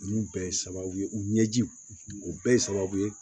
Ninnu bɛɛ ye sababu ye u ɲɛjiw o bɛɛ ye sababu ye